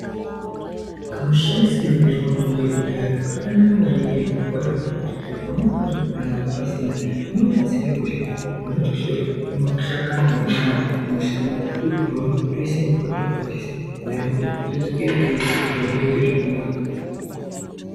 Kumushandisire kanoitwa mutombo yekudhaya kakanaka maningi zvirokwazvo ngekuti pamweni pacho kana mare pasina zvinobatsire kuti munotoshore mashakani edu ayani emushango. Tototora toise mumvura tokwatisa, ndaramo yodzoke payainga iri, zviro zvoite zvakanaka.